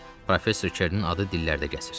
Professor Kernin adı dillərdə gəzir.